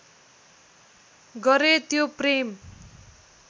गरे त्यो प्रेम